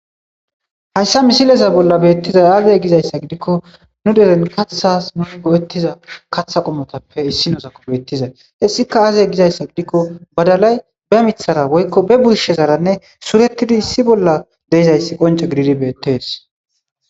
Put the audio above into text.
hayssa misileza bolla beettizay aazee gizayssa gidikko nu deren kathas nu go7ettiza katha qomotappe issi noozakko beettizay hessika aazee gizayssa gidikko badalay ba mithara woykko be burshezaranne suretidi issi bolla deizayssi qonca gididi beettees